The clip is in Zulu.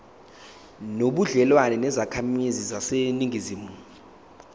nobudlelwane nezakhamizi zaseningizimu